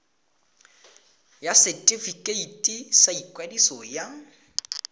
ya setefikeiti sa ikwadiso ya